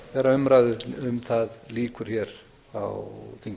þegar umræðu um það lýkur hér á þingi